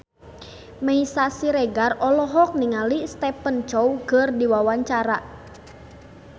Meisya Siregar olohok ningali Stephen Chow keur diwawancara